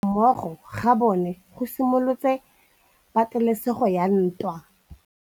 Go tlhoka tirsanommogo ga bone go simolotse patêlêsêgô ya ntwa.